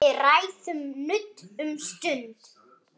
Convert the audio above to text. Leið mín greið.